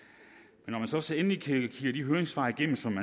er så endelig kigger de høringssvar igennem som